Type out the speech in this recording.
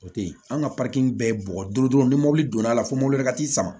O te yen an ka bɛɛ ye bɔgɔ duuru dɔrɔn ni mɔbili donna la fo mɔbili wɛrɛ ka t'i sama